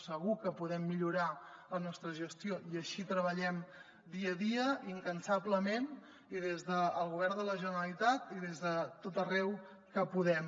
segur que podem millorar la nostra gestió i així treballem dia a dia incansablement i des del govern de la generalitat i des de tot arreu on podem